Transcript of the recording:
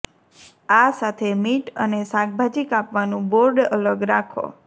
આ સાથે મીટ અને શાકભાજી કાપવાનું બોર્ડ અલગ રાખો